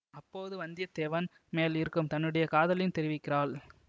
அப்போது வந்திய தேவன் மேல் இருக்கும் தன்னுடைய காதலையும் தெரிவிக்கிறாள்